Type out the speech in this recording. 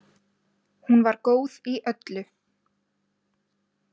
Hún var góð í öllu.